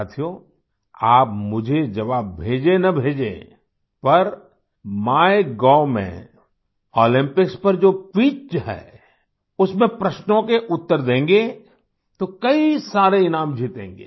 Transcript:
साथियो आप मुझे जवाब भेजेंन भेजें पर माइगोव में ओलम्पिक्स परजो क्विज है उसमें प्रश्नों के उत्तर देंगे तो कई सारे इनाम जीतेंगे